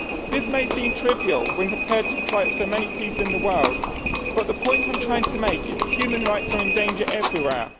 This may seem trivial when compared to the plight of so many people in the world, but the point I am trying to make is that human rights are in danger everywhere